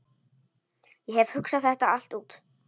Ég hef hugsað þetta allt út.